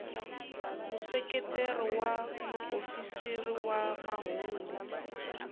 museketeri wa muofisiri wa mahungu